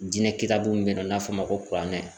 Diinɛ kibaribu min bɛ n'a bɛ f'o ma ko